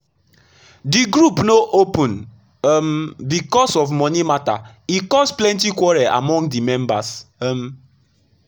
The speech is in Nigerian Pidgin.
the group no open um because of money matter e cause plenty quarrel among the members. um